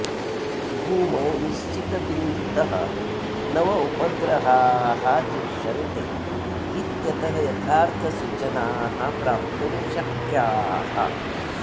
भूमौ निश्चितबिन्धुतः नव उपग्रहाः दृश्यन्ते इत्यतः यथार्थसूचनाः प्राप्तुं शक्याः